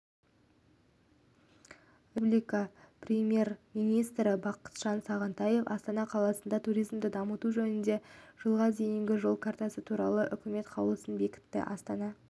республикапремьер-министрі бақытжан сағынтаев астана қаласында туризмді дамыту жөнінде жылға дейінгі жол картасы туралы үкіметқаулысын бекітті астана